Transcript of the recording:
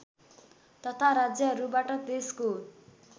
तथा राज्यहरूबाट देशको